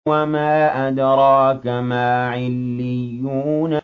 وَمَا أَدْرَاكَ مَا عِلِّيُّونَ